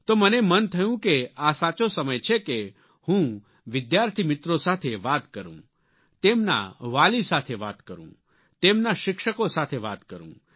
તો મને મન થયું કે આ સાચો સમય છે કે હું વિદ્યાર્થી મિત્રો સાથે વાત કરું તેમના વાલી સાથે વાત કરું તેમના શિક્ષકો સાથે વાત કરું